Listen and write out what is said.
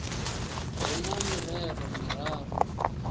hu na mirero miraru ri